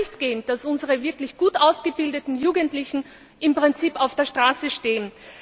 Es kann nicht angehen, dass unsere wirklich gut ausgebildeten Jugendlichen im Prinzip auf der Straße stehen.